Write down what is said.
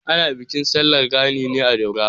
Ana bikin sallar gani ne a Daura.